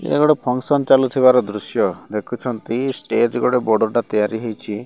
ଏଟା ଗୋଟେ ଫଂକ୍ସନ ଚାଲୁଥିବାର ଦୃଶ୍ୟ ଦେଖୁଛନ୍ତି। ଷ୍ଟେଜ୍ ଗୋଟେ ବଡ଼ଟା ତିଆରି ହେଇଚି।